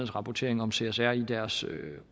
rapportering om csr i deres